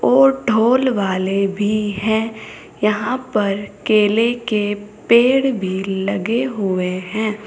और ढ़ोल वाले भी हैं। यहां पर केले के पेड़ भी लगे हुए हैं।